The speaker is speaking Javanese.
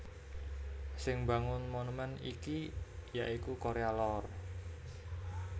Sing mbangun monumèn iki ya iku Korea Lor